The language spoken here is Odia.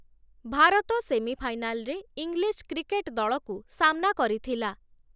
ଭାରତ ସେମିଫାଇନାଲରେ ଇଂଲିଶ କ୍ରିକେଟ ଦଳକୁ ସାମ୍‌ନା କରିଥିଲା ।